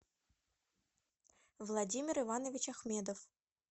владимир иванович ахмедов